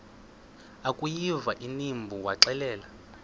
akuyiva inimba waxelela